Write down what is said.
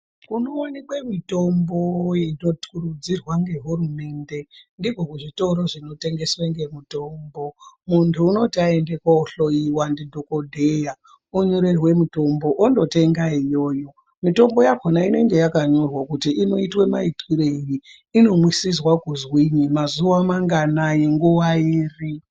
Kunoonekwe mitombo inokurudzirwa ngehurumende ndikwo kuzvitoro zvinotengeswe ngemitombo, muntu unoti aende kohloyiwa ndidhokodheya onyorerwe mitombo ondotenda iyoyo. Mitombo yakhona inenge yakanyorwa kuti inoitwa maitwirei inomwisizwa kuzwinyi, mazuwa manganai, nguwa iri.